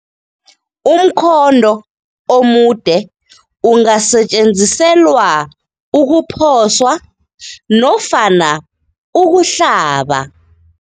Umkhonto omude ungasetjenziselwa ukuphoswa nofana ukuhlaba.